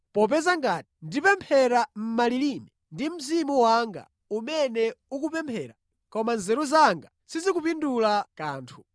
Popeza ngati ndipemphera mʼmalilime, ndi mzimu wanga umene ukupemphera, koma nzeru zanga sizikupindula kanthu.